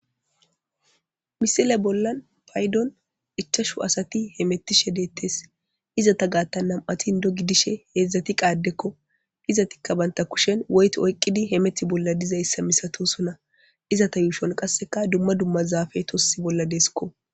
Misile bollan baydon ichashu asati hemetishe detes izeta gatan nam7ati indo gidishe hedzdzati qa addeko. izetika banta gushen woyto oykidi hemeti bolla dizaysa misatosona. izeta yushon qaseka dumma dumma zafey tosi bolla desiko.